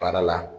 Baara la